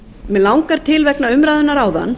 mig langar til vegna umræðunnar áðan